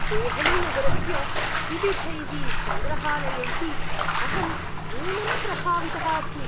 देहलीनगरस्य विविधैः सङ्ग्रहालयैः अहं नूनं प्रभावितः अस्मि।